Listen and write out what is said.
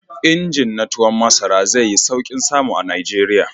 Injin na tuwon masara zai yi sauƙin samu a Najeriya.